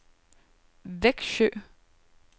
Vexjö